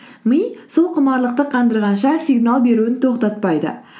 ми сол құмарлықты қандырғанша сигнал беруін тоқтатпайды